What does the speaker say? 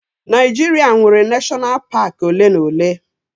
Naijiria nwere neshọnal paak ole na ole